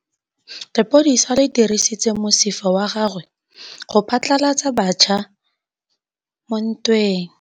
Lepodisa le dirisitse mosifa wa gagwe go phatlalatsa batšha mo ntweng.